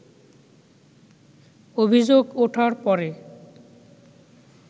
অভিযোগ ওঠার পরে